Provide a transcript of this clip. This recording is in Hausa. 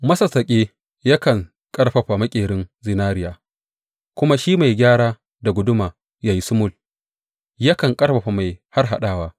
Masassaƙi yakan ƙarfafa maƙerin zinariya, kuma shi mai gyara da guduma ya yi sumul yakan ƙarfafa mai harhaɗawa.